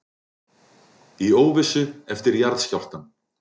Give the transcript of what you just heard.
Í óvissu eftir jarðskjálftann